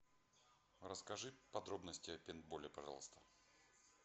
расскажи подробности о пейнтболе пожалуйста